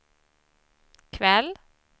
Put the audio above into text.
kväll